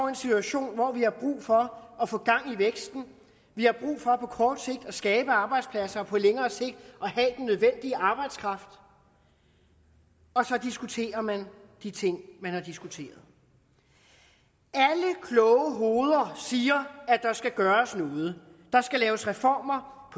en situation hvor vi har brug for at få gang i væksten vi har brug for på kort sigt at skabe arbejdspladser og på længere sigt at nødvendige arbejdskraft og så diskuterer man de ting man har diskuteret alle kloge hoveder siger at der skal gøres noget der skal laves reformer